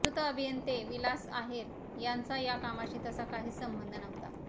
मृत अभियंते विलास आहेर यांचा या कामाशी तसा काहीच संबंध नव्हता